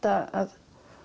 að